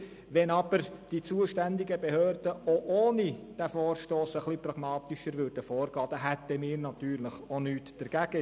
Wenn aber die zuständigen Behörden auch ohne diesen Vorstoss etwas pragmatischer vorgehen würden, hätten wir natürlich auch nichts dagegen.